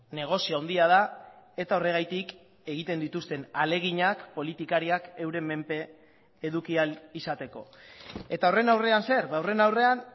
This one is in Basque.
negozio handia da eta horregatik egiten dituzten ahaleginak politikariak euren menpe eduki ahal izateko eta horren aurrean zer ba horren aurrean